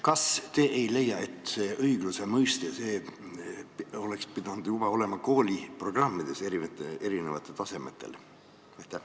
Kas te ei leia, et seda õigluse mõistet peaks juba kooliprogrammides erinevatel tasemetel käsitlema?